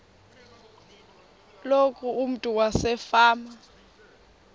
loku umntu wasefama